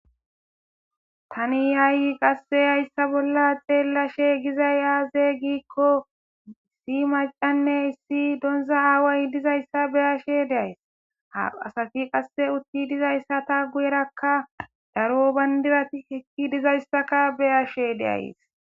tani yaay qasse hayssa bolla xeellashe gizay yaaze giikko issi macanne issi donza aaway dizayssa beyashe deays ha asati qasse utti dizayssa ta guyerakka daro bandirati hekki dizayssaka beyashe deays